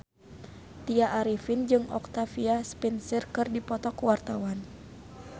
Tya Arifin jeung Octavia Spencer keur dipoto ku wartawan